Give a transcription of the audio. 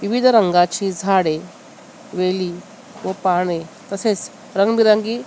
विविध रंगाची झाडे वेली व पाने तसेच रंगीबेरंगी --